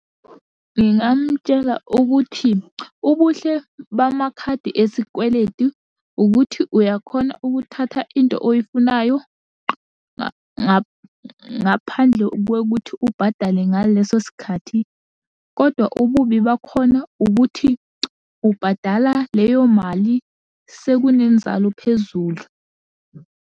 Ngingamutshela ukuthi, ubuhle bamakhadi esikweletu ukuthi uyakhona ukuthatha into oyifunayo ngaphandle kokuthi ubhadale ngaleso sikhathi, kodwa ububi bakhona ukuthi ubhadala leyo mali sekunenzalo phezulu.